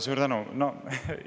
Suur tänu!